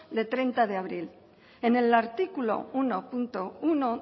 de hogeita hamar de abril en el artículo unobatgarrena